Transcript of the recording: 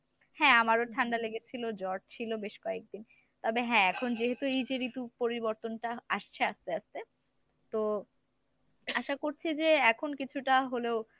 হ্যাঁ আমারো ঠান্ডা লেগেছিল জ্বড় ছিল বেশ কয়েকদিন তবে হ্যাঁ এখন যেহেতু এই যে ঋতু পরিবর্তনটা আসছে আস্তে আস্তে। তো আশা করছি যে এখন ‍কিছুটা হলেও